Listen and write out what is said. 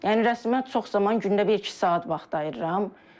Yəni rəsmə çox zaman gündə bir-iki saat vaxt ayırıram.